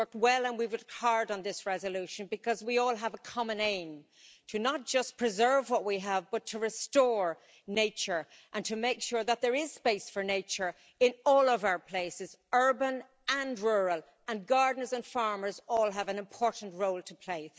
We've worked well and we've worked hard on this resolution, because we all have a common aim to not just preserve what we have but to restore nature and to make sure that there is space for nature in all of our places, urban and rural, and gardeners and farmers all have an important role to play.